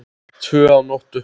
Tvö að nóttu